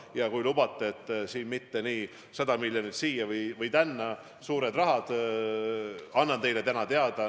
Ja kui lubate, siis mitte täpsusega 100 miljonit siia või tänna – need on suured rahad – annan teile selle summa teada.